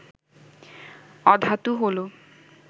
অধাতু হল